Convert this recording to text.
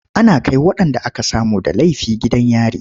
Ana kai waɗanda aka samu da laifi gidan yari.